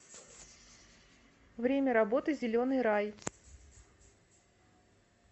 время работы зеленый рай